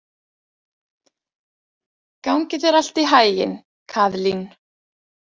Gangi þér allt í haginn, Kaðlín.